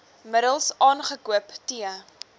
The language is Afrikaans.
middels aangekoop t